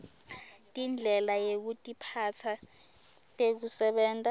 tindlela yekutiphatsa tekusebenta